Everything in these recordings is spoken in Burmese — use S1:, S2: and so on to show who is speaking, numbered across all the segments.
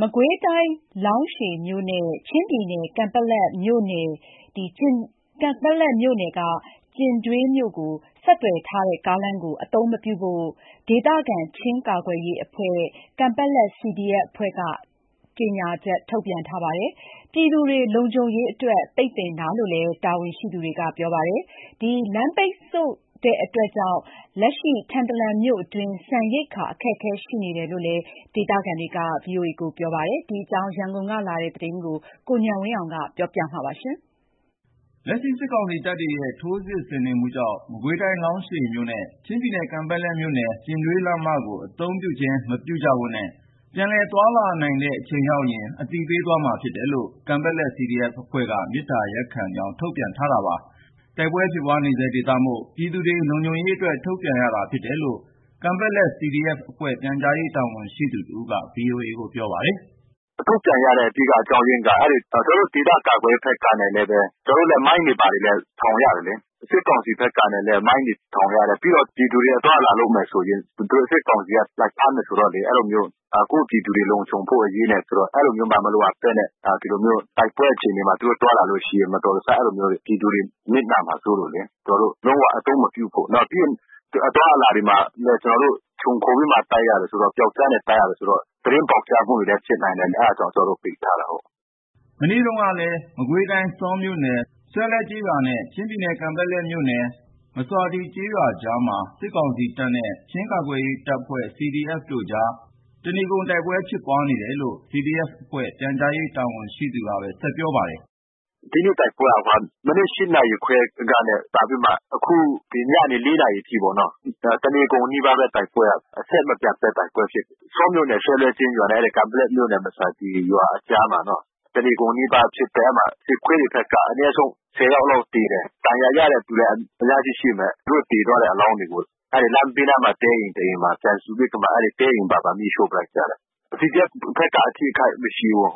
S1: မကွေးတိုင်းလောင်းရှည်မြို့နဲ့ ချင်းပြည်နယ်ကန်ပက်လက်မြို့နယ်ကျင်ဒွေးမြို့ကိုဆက်သွယ်ထားတဲ့ကားလမ်းကို အသုံး မပြုဖို့ ဒေသခံ ချင်းကာကွယ်ရေးအဖွဲ့ ကန်ပက်လက်CDFအဖွဲ့ကထုတ်ပြန်ထားပါတယ်။ ပြည်သူတွေလုံခြုံရေးအတွက် ပိတ်ပင်တာလို့ CDFတာဝန်ရှိသူကပြောပါတယ်။ လမ်းပိတ်ဆို့ နေ မှုကြောင့် လက်ရှိ ထန်တလန်မြို့အတွင်း ဆန်ရိက္ခာ အခက်ခဲရှိနေတယ်လို့လဲ ဒေသခံတွေကပြောပါတယ်။ ဒီအကြောင်း ရန်ကုန်ကလာတဲ့ သတင်းကို ကိုဉာဏ်ဝင်းအောင်က ပြောပြမှာပါ။
S2: လက်ရှိစစ်ကောင်စီတပ်တွေရဲ့ထိုးစစ်ဆင်နေမှုကြောင့် မကွေးတိုင်းလောင်းရှည်မြို့နဲ့ ချင်းပြည်နယ် ကန်ပက်လက်မြို့ နယ် ကျင်ဒွေးလမ်းမကို အသုံးပြုခြင်းမပြုကြဖို့နဲ့ ပြန်လည်သွားလာနိုင်တဲ့အချိန်ရောက်ရင် ပြန်လည်အသိပေးသွား မယ်လို့ ကန်ပက်လက်CDFအဖွဲ့က မေတ္တာရပ်ခံကြောင်းထုတ်ပြန်ထားပါတယ်။ တိုက်ပွဲဖြစ်ပွါးနေဆဲဒေသမို့ ပြည်သူတွေလုံခြုံရေးအတွက် ထုတ်ပြန်ရတယ်လို့ တိုက်ပွဲဖြစ်ပွါးနေတယ်လို့ ကန်ပက် လက်CDFအဖွဲ့ပြန်ကြားရေးတာဝန်ရှိသူ တဦးကပြော ပါတယ်။
S1: “ ထုတ်ပြန်ရတဲ့အဓိကအကြောင်းအရင်းက ကျွန်တော်တို့ဒေသကာကွယ်ရေးအဖွဲ့ဘက်ကလဲဘဲ ကျွန်တော်တို့လဲ မိုင်းတွေဘာတွေထောင်ကြတယ်လေ။ စစ်ကောင်စီဘက်ကလဲ မိုင်းတွေထောင်ကြတယ်။ ပြီးတော့ပြည်သူတွေ အသွား အလာလုပ်မယ်ဆိုရင် သူတို့စစ်ကောင်စီက လာဖမ်းမယ်ဆိုတော့လေ။ အဲဒီလိုမျိုး ကိုယ့်ပြည်သူတွေလုံခြုံဖို့ အရေးနဲ့ ဆိုတော့ အဲဒီလိုမျိုးမှ မလိုအပ်ဘဲနဲ့ ဒီလိုမျိုးတိုက်ပွဲအခြေအနေမှာ သူတို့သွားလာလို့ရှိရင် မတော်တဆ အဲဒီလိုမျိုး တွေ။ ပြည်သူတွေနစ်နာမှာစိုးလို့လေ။ ကျွန်တော်တို့လုံးဝအသုံးမပြုဖို့ ပြီးရင် အသွားအလာတွေမှာလဲ ကျွန်တော်တို့ ခြုံခိုပြီးမှတိုက်ရတယ်ဆိုတော့ ပြောက်ကျားနဲ့တိုက်ရတယ်ဆိုတော့ သတင်းပေါက်ကြားမှုတွေလဲဖြစ်နိုင်တယ်။ အဲတာ ကြောင့်ကျွန်တော်တို့ပိတ်ထားတယ်။
S2: ” ဒီကနေ့မှာလဲ မကွေးတိုင်း ဆောမြို့နယ်ဆွဲလဲကျေးရွာနဲ့ ချင်းပြည်နယ်ကန်ပက်လက်မြို့နယ် မဆာတွီကျေးရွာကြား မှာ စစ်ကောင်စီတပ်နဲ့ ချင်းကာကွယ်ရေးအဖွဲ့CDFတို့အကြား တနေကုန် တိုက်ပွဲဖြစ်ပွါးနေတယ် လို့CDFအဖွဲ့ ပြန်ကြား ရေးတာဝန်ရှိသူကဘဲဆက် ပြောပါတယ်။
S1: “ ဒီနေ့တိုက်ပွဲက မနက် နာရီခွဲကနဲ့စပြီးမှ အခု ဒီညနေ နာရီအထိပေါ့နော်။ တနေကုန်နီးပါးဘဲတိုက်ပွဲက အဆက် မပြတ်ဘဲတိုက်ပွဲဖြစ်တယ်။ ဆောမြို့နယ် ဆွဲလဲကျေးရွာနဲ့ အဲဒီကန်ပက်လက်မြို့နယ် မဆာတွီးရွာအကြားမှာတော့ တနေကုန်နီးပါးဖြစ်တယ်။ အဲဒီမှာ စခတွေဘက်က အနဲဆုံး ယောက်လောက်သေတယ်။ ဒဏ်ရာရတဲ့သူက အများကြီးရှိမယ်။ သူတို့သေသွားတဲ့အလောင်းတွေကို လမ်းဘေးနားမှာ တဲအိမ်တအိမ်မှာ ပြန်စီစစ်ပြီးမှ အဲဒီတဲအိမ်ပါ မီးရှို့လိုက်ကြတယ်။ CDFဘက်ကအထိခိုက်မရှိဘူး။”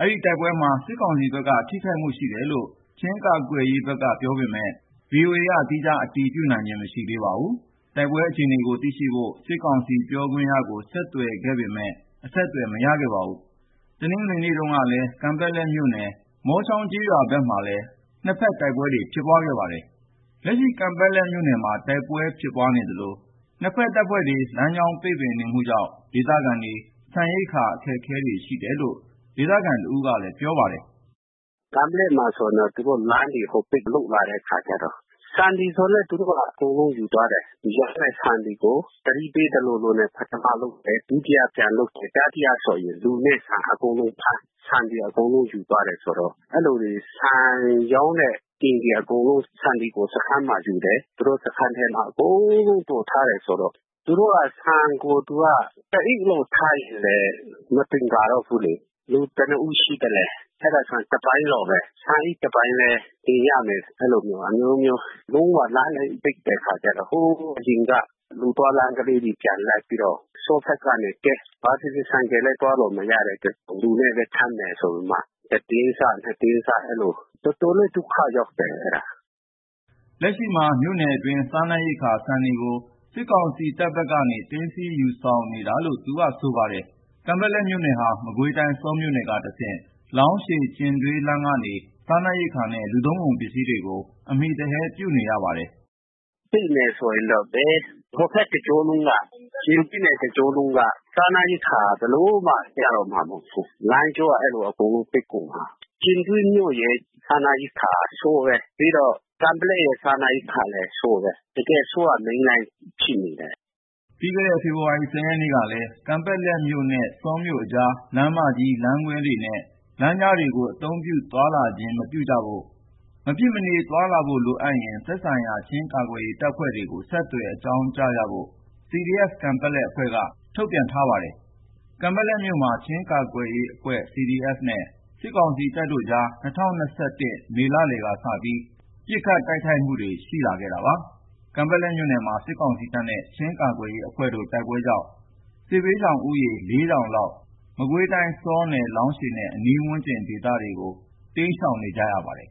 S2: ဒီနေ့တိုက်ပွဲမှာ စစ်ကောင်စီဘက်က ထိခိုက်များတယ်လို့ ချင်းကာကွယ်ရေးဘက်ကပြောပေမဲ့ သီးခြားအတည်မပြု နိုင်သေးပါဘူး။ တိုက်ပွဲအခြေအနေကို သိရှိဖို့ စစ်ကောင်စီပြောခွင့်ရကိုဆက်သွယ်ခဲ့ပေမဲ့ မရခဲ့ပါဘူး။ မနေ့ကတနင်္ဂနွေနေ့မှာလဲ ကန်ပက်လက်မြို့နယ် မောချောင်းကျေးရွာဘက်မှာလဲ နှစ်ဖက်တိုက်ပွဲဖြစ်ပွါးခဲ့ပါတယ်။ လက်ရှိကန်ပက်လက်မြို့မှာ တိုက်ပွဲတွေဖြစ်ပွါးနေသလို နှစ်ဖက်တပ်ဖွဲ့တွေ လမ်းကြောင်းပိတ်ပင်နေမှုကြောင့် ဒေသခံတွေ ဆန်ရိက္ခာအခက်တွေ့နေတယ်လို့ ဒေသခံတဦးကပြောပါတယ်။
S3: “ ကန်ပက်လက်မှာဆို သူတို့လမ်းတွေအကုန်ပိတ် လုပ်လာတဲ့အခါကျတော့ ဆန်တွေအကုန်လုံး သူတို့က ယူသွား တယ်။ ရောင်းတဲ့ဆန်တွေကို သတိပေးသလိုလိုနဲ့ ပထမဆုံးသယ်။ ဒုတိယပြန်လွှတ်ပေး။ တတိယဆို လူနဲ့ဆန် အကုန် လုံးဖမ်း ဆန်တွေအကုန်လုံးယူသွားတယ်ဆိုတော့ အဲဒီလိုဆန်ရောင်းတဲ့အိမ်တွေအကုန်လုံး ဆန်တွေကို စခန်းမှာယူ တယ်။ စခန်းထဲမှာအကုန်လုံးသိုထားတယ်ဆိုတော့။ သူတို့က ဆန်ကို တအိတ်လောက်ထားရင်လဲ မသင်္ကာတော့ ဘူးလေ။ လူဘယ်နှစ်ဦးရှိသလဲ အဲတာဆန်တပိုင်းလောက်ဘဲ ဆန်အိတ်တပိုင်းဘဲတင်ရမယ်။ လုံးဝလမ်းတွေပိတ်တဲ့ အခါ ကျတော့ ဟိုအရင်က လူသွားလမ်း ကလေးကိုပြန်လိုက်ပြီးတော့ ဆောဘက်ကနေ ကဲ့ ဘာဘဲဖြစ်ဖြစ် ဆိုင်ကယ် နဲ့ သွားလို့ မရတဲ့အတူ လူနဲ့ဘဲထမ်းမယ် ဆိုပြီးမှ တတင်းစ နှစ်တင်းစ အဲဒီလို တော်တော်လေးဒုက္ခရောက်တယ် အဲတာ။
S2: ” လက်ရှိမြို့အတွင်းက စားနပ်ရိက္ခာဆန်တွေကိုလဲ စစ်ကောင်စီတပ်ဘက်ကနေ သိမ်းဆည်းယူဆောင်နေတာလို့ သူကဆိုပါတယ်။ ကန်ပက်လက်မြို့ဟာ မကွေးတိုင်း ဆောမြို့နယ်ကတဆင့် လောင်းရှည်-ကျင်ဒွေးလမ်းကနေ စားနပ်ရိက္ခာနဲ့ လူသုံး ကုန်ပစ္စည်းတွေကို အမှီပြုနေရပါတယ်။
S3: “ ပိတ်မယ်ဆိုရင်တော့ ဘယ် ဟိုဘက်တကြောလုံးက ကျင်ဒွေးနယ်တကြောလုံးက စားနပ်ရိက္ခာဘယ်လိုမှ ရတော့ မှာမဟုတ်ဘူး။ လမ်းကြောက အဲဒီလိုအကုန်လုံးပိတ်ကုန်မှာ။ ကျင်ဒွေးမြို့က စားနပ်ရိက္ခာကဆောဘဲ။ ကန်ပက်လက်ရဲ့ စားနပ်ရိက္ခာလဲဆောဘဲ။ တကယ် ဆောကမိန်းလမ်းကြီးဖြစ်န
S2: ေတယ်။ ” ပြီးခဲ့တဲ့ဖေဖော်ဝါရီ ရက်နေ့ကလဲ ကန်ပက်လက်မြို့နှင့်ဆောမြို့အကြား လမ်းမကြီး၊ လမ်းခွဲများနဲ့ ကြားလမ်း တွေကို အသုံးပြုသွားလာခြင်းမပြုဖို့ မဖြစ်မနေသွားလာဖို့ ရှိရင် သက်ဆိုင်ရာချင်းကာကွယ်ရေးတပ်ကို ဆက်သွယ်ပြီး သွားလာကြဖို့ CDF-ကန်ပက်လက်အဖွဲ့ က ထုတ်ပြန်ထားပါတယ်။ ကန်ပက်လက်မြို့မှာ ချင်းကာကွယ်ရေးအဖွဲ့ CDF နဲ့ စစ်ကောင်စီတပ်တို့အကြား ၂၀၂၁ခုနှစ် မေလလယ်က စပြီး ပစ်ခတ်တိုက်ခိုက်မှု တွေရှိလာနေခဲ့တာပါ။ ကန်ပက်လက်မြို့နယ်မှာ စစ်ကောင်စီတပ်နဲ့ ချင်းကာကွယ်ရေးအဖွဲ့တို့တိုက်ပွဲကြောင့် စစ်ဘေးရှောင်ဦးရေ လောက် မကွေးတိုင်း ဆောနယ် လောင်းရှည်နဲ့အနီးဝန်းကျင်ဒေသမှာ စစ်ဘေးတိမ်းရှောင်နေရပါတယ်